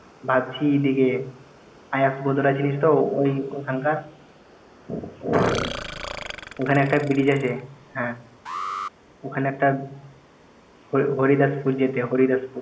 ভাবছি দিগে যে চিনিস তো ওই ওখানকার ওখানে একটা ব্রিজ আছে হ্যাঁ ওখানে একটা হরিদাসপুর যেতে হরিদাসপু~